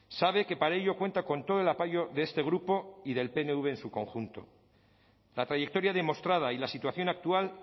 sabe que para ello cuenta con todo el apoyo de este grupo y del pnv en su conjunto la trayectoria demostrada y la situación actual